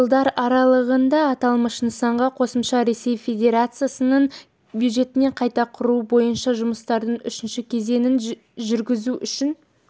жылдар аралығында аталмыш нысанға қосымша ресей федерациясының бюджетінен қайта құру бойынша жұмыстардың үшінші кезеңін жүргізу үшін